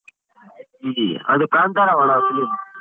ಇದಿ ಅದು ಕಾಂತಾರವಣ್ಣ film.